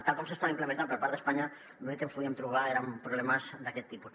tal com s’estava implementant per part d’espanya l’únic que ens podíem trobar eren problemes d’aquest tipus